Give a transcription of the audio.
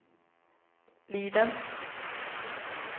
Liden